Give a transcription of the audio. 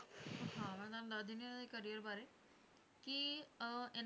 ਹਾਂ ਮੈਂ ਤੁਹਾਨੂੰ ਦੱਸ ਦਿੰਦੀ ਹਾਂ ਇਹਨਾਂ ਦੇ career ਬਾਰੇ ਕਿ ਅਹ ਇਹਨਾਂ